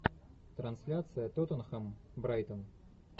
трансляция тоттенхэм брайтон